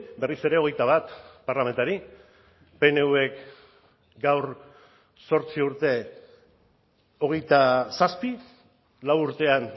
berriz ere hogeita bat parlamentari pnvk gaur zortzi urte hogeita zazpi lau urtean